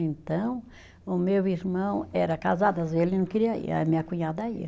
Então, o meu irmão era casado, às vezes ele não queria ir, aí a minha cunhada ia.